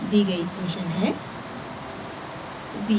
दी गयी इक्वेशन है